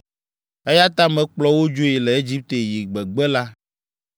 Eya ta mekplɔ wo dzoe le Egipte yi gbegbe la.